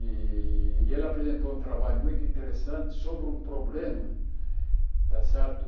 E e ele apresentou um trabalho muito interessante sobre um problema, está certo?